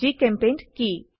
জিচেম্পেইণ্ট কি